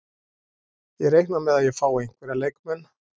Ég reikna með að ég fái einhverja leikmenn.